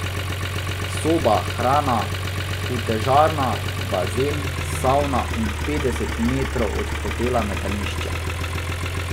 Soba, hrana, utežarna, bazen, savna in petdeset metrov od hotela metališče.